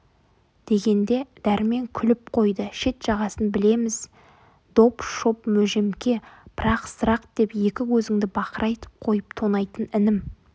дегенде дәрмен күліп қойды шет-жағасын білеміз доп-шоп мөжемке пырақсырақ деп екі көзіңді бақырайтып қойып тонайтын інім